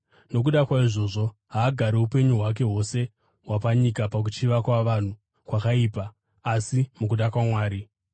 Nokuda kwaizvozvo, haagari upenyu hwake hwose hwapanyika pakuchiva kwavanhu kwakaipa, asi mukuda kwaMwari.